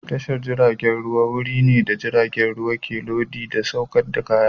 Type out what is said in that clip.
Tashar jiragen ruwa wuri ne da jiragen ruwa ke lodi da sauke kaya.